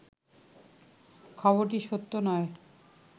খবরটি সত্য নয়